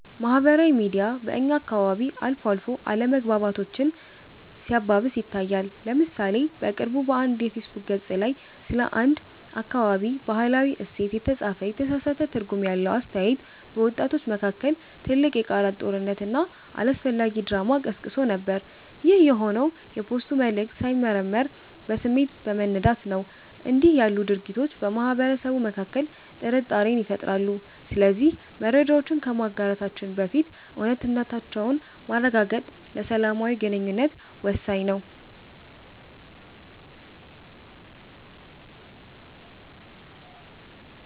ማህበራዊ ሚዲያ በእኛ አካባቢ አልፎ አልፎ አለመግባባቶችን ሲያባብስ ይታያል። ለምሳሌ በቅርቡ በአንድ የፌስቡክ ገፅ ላይ ስለ አንድ አካባቢ "ባህላዊ እሴት" የተጻፈ የተሳሳተ ትርጉም ያለው አስተያየት፣ በወጣቶች መካከል ትልቅ የቃላት ጦርነትና አላስፈላጊ ድራማ ቀስቅሶ ነበር። ይህ የሆነው የፖስቱ መልዕክት ሳይመረመር በስሜት በመነዳት ነው። እንዲህ ያሉ ድርጊቶች በማህበረሰቡ መካከል ጥርጣሬን ይፈጥራሉ። ስለዚህ መረጃዎችን ከማጋራታችን በፊት እውነታነታቸውን ማረጋገጥ ለሰላማዊ ግንኙነት ወሳኝ ነው።